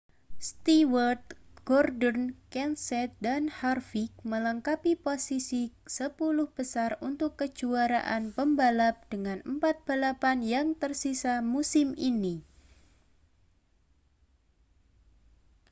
stewart gordon kenseth dan harvick melengkapi posisi sepuluh besar untuk kejuaraan pembalap dengan empat balapan yang tersisa musim ini